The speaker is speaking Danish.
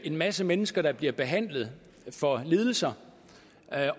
en masse mennesker der bliver behandlet for lidelser